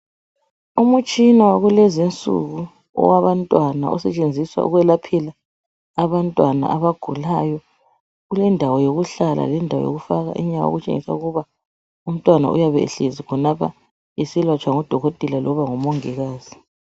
Umtshina wakulezinsuku owabantwana osetshenziswa ukwelaphela abantwana abagulayo, kulendawo yokuhlala lendawo yokufaka inyawo okutshengisa ukuba umntwana uyabehlezi khonapho eselatshwa ngudokotela loba ngumongikazi.